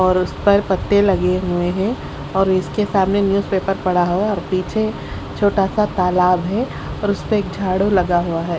और उसपर पत्ते लगे हुए है और इसके सामने न्यूज़ पेपर पड़ा हुआ है और पीछे छोटासा तालाब है और उसपे झाड़ू लगा है।